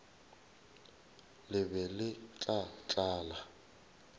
le be le tla tlala